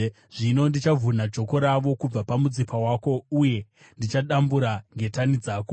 Zvino ndichavhuna joko ravo kubva pamutsipa wako uye ndichadambura ngetani dzako.”